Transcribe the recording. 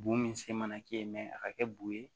Bo min se mana kɛ yen a ka kɛ bu ye